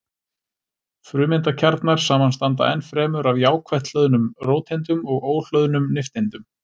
Frumeindakjarnar samanstanda ennfremur af jákvætt hlöðnum róteindum og óhlöðnum nifteindum.